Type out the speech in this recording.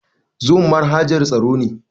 Zoom manhajan taro ne.